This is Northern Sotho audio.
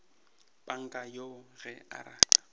panka yoo ge a rata